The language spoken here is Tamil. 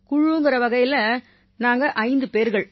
குழுங்கற வகையில நாங்க ஐந்து பேர்கள்